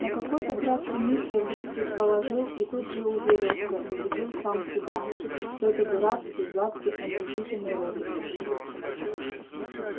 на какой-то краткий миг я вдруг предположил и тут же уверился убедил сам себя что это дурацкий гадкий омерзительный розыгрыш